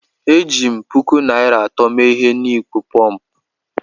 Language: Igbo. Eji m puku naira atọ mee ihe n'ịkpọ pọmpụ